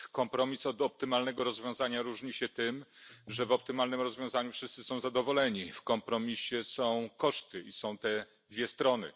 Kompromis od optymalnego rozwiązania różni się tym, że w optymalnym rozwiązaniu wszyscy są zadowoleni, a w kompromisie są koszty i są dwie strony.